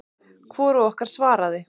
Hvorug okkar svaraði.